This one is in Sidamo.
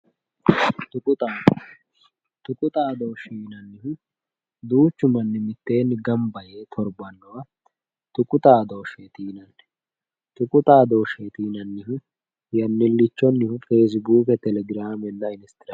Xuqu xaadooshshe xuqu xaadooshshe yinannihu duuchu manni mitteenni gamba yee torbannowa tuqu xaadooshsheti yinanni xuqu xaadooshsheeti yinannihu yannallichonnihu facebook telegraamenna instagramete